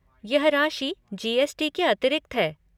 यह राशि जी.एस.टी. के अतिरिक्त है।